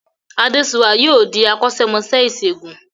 Adéṣuwà yóò di akọ́ṣẹ́mọṣẹ́ ìṣègùn